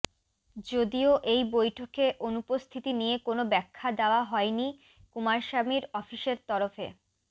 যদিও এই বৈঠকে অনুপস্থিতি নিয়ে কোনও ব্যাখ্যা দেওয়া হয়নি কুমারস্বামীর অফিসের তরফে